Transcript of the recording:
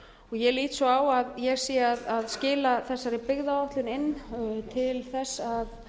ég lít svo á að ég sé að skila þessari byggðaáætlun inn til þess að